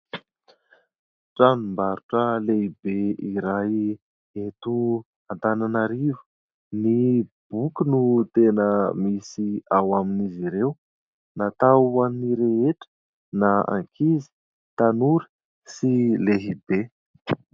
Tranom-barotra lehibe iray eto Antananarivo. Ny boky no tena misy ao amin'izy ireo natao hoan'ny rehetra na ankizy, tanora sy lehibe.